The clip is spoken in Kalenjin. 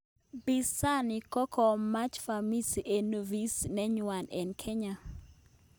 Pinzani kokamach vamizi en ofisit nenywa en Kenya